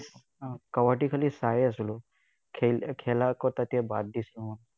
আহ কাবাদ্দী খালি চাইয়ে আছিলো। খেলা আকৌ তেতিয়া বাদ দিছিলো, মই।